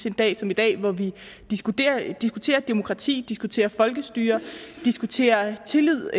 en dag som i dag hvor vi diskuterer demokrati diskuterer folkestyre og diskuterer tillid